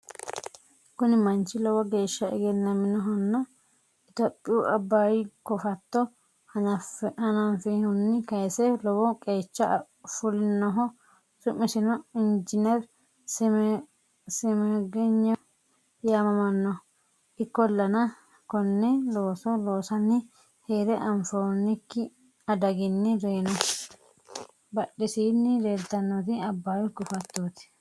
Kuni manchi lowo geeshsa egennaminnohanna itiyopiyu abayu kofatto hananfihunni kayise lowo qeecha fulinnoho su'misino injiner Simegnewu yaamamanno ikkollana konne looso losaanni heere anfonnikki adagini reyino. badhesini leeltannoti abayu kofattot.